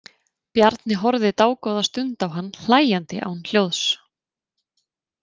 Bjarni horfði dágóða stund á hann hlæjandi án hljóðs.